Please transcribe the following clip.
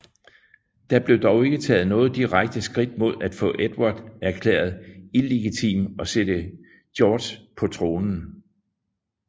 Der blev dog ikke taget noget direkte skridt mod at få Edvard erklæret illegitim og sætte Georg på tronen